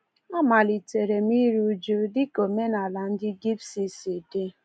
Amalitere m iri uju dị ka omenaala ndị Gypsy si dị.